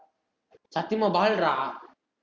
சத்தியமா ball ரா